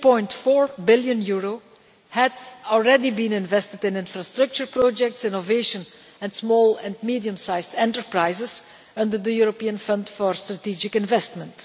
20.4 billion had already been invested in infrastructure projects, innovation and small and medium sized enterprises under the European Fund for Strategic Investment.